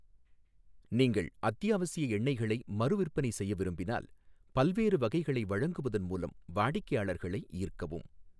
நீங்கள் அத்தியாவசிய எண்ணெய்களை மறுவிற்பனை செய்ய விரும்பினால், பல்வேறு வகைகளை வழங்குவதன் மூலம் வாடிக்கையாளர்களை ஈர்க்கவும்.